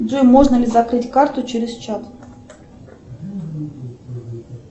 джой можно ли закрыть карту через чат